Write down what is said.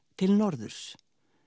til norðurs